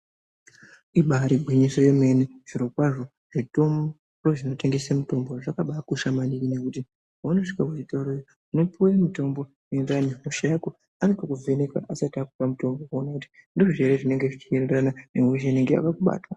Iba iri gwinyiso yemene, zvirokwazvo zvitoro zvinotengese mitombo zvakabakosha maningi ngekuti wandosvike weitaure unopiwe mitombo inoenderana nehosha yako. Anombokuvheneka asati akupa mutombo kuti aone kuti ndizvo ere zvirikuenderana nehosha inenge yakakubata .